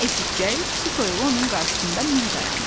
Bunu eşitcək su toyuğu onun qarşısında mil dayandı.